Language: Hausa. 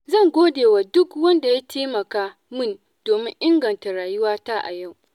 Zan godewa duk wanda ya taimaka min domin inganta rayuwata a yau.